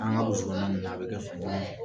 An ka Kɔnɔna ninnu na a bɛ kɛ